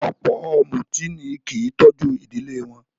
Ọ̀pọ̀ ọ̀mùtí ni kí í tọ́jú ìdílé wọn